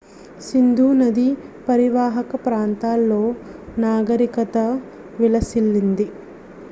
సింధు నది పరీవాహక ప్రాంతాల్లో నాగరికత విలసిల్లింది